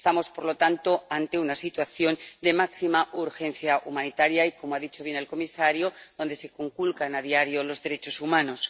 Estamos, por lo tanto, ante una situación de máxima urgencia humanitaria y —como ha dicho bien el comisario— en la que se conculcan a diario los derechos humanos.